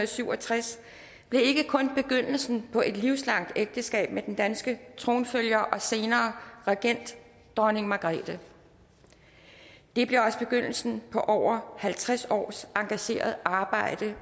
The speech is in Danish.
syv og tres blev ikke kun begyndelsen på et livslangt ægteskab med den danske tronfølger og senere regent dronning margrethe det blev også begyndelsen på over halvtreds års engageret arbejde